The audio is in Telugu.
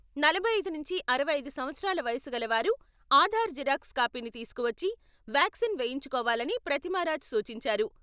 నలభై ఐదు నుంచి అరవై ఐదు సంవత్సరాల వయస్సుగల వారు ఆధార్ జిరాక్స్ కాపీని తీసుకువచ్చి వ్యాక్సిన్ వేయించుకోవాలని ప్రతిమారాజ్ సూచించారు.